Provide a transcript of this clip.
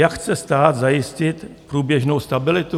Jak chce stát zajistit průběžnou stabilitu?